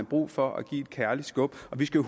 brug for at give et kærligt skub vi skal